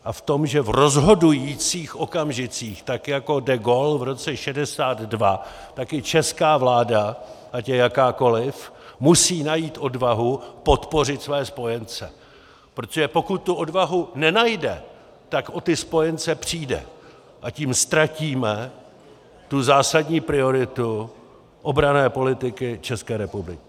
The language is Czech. A v tom, že v rozhodujících okamžicích, tak jako de Gaulle v roce 1962, tak i česká vláda, ať je jakákoli, musí najít odvahu podpořit své spojence, protože pokud tu odvahu nenajde, tak o ty spojence přijde, a tím ztratíme tu zásadní prioritu obranné politiky České republiky.